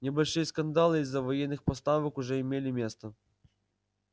небольшие скандалы из-за военных поставок уже имели место